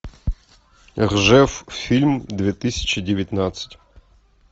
ржев фильм две тысячи девятнадцать